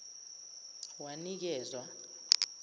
wanikezwa